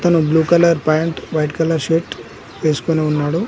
అతను blue colour pant white colour shirt వేసుకొని ఉన్నాడు.